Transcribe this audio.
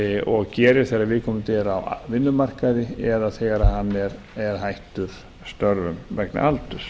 og gerir þegar viðkomandi er á vinnumarkaði eða þegar hann er hættur störfum vegna aldurs